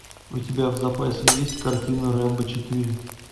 у тебя в запасе есть картина рэмбо четыре